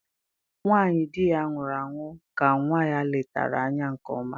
Nwanyị dị ya nwụrụ ahụ ka nwa ya letara anya nke ọma